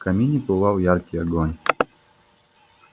в камине пылал яркий огонь